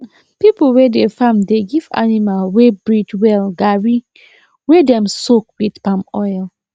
people wey dey farm dey give animal wey breed well garri wey dem soak wit palm oil